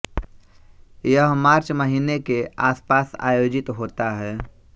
यह मार्च महीने के आसपास आयोजित होता है